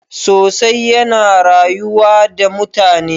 sosai yana rayuwa da mutane